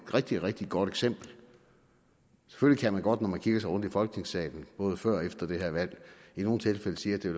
rigtig rigtig godt eksempel selvfølgelig kan man godt når man kigger sig om i folketingssalen både før og efter det her valg i nogle tilfælde sige at det